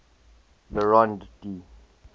le rond d